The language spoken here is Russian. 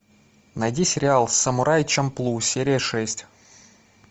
найди сериал самурай чамплу серия шесть